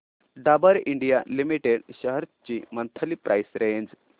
Dabur India limited shares ची monthly price range